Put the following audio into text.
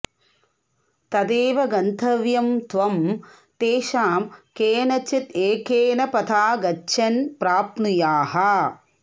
तदेव गन्तव्यम् त्वम् तेषाम् केनचिद् एकेन पथा गच्छन् प्राप्नुयाः